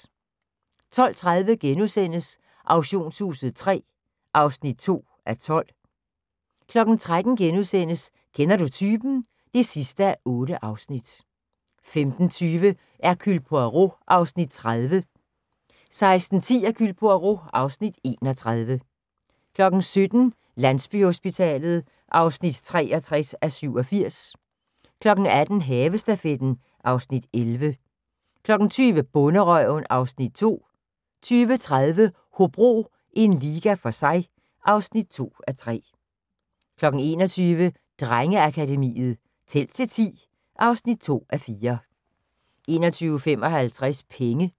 12:30: Auktionshuset III (2:12)* 13:00: Kender Du Typen? (8:8)* 15:20: Hercule Poirot (Afs. 30) 16:10: Hercule Poirot (Afs. 31) 17:00: Landsbyhospitalet (63:87) 18:00: Havestafetten (Afs. 11) 20:00: Bonderøven (Afs. 2) 20:30: Hobro – en liga for sig (2:3) 21:00: Drengeakademiet – Tæl til 10 (2:4) 21:55: Penge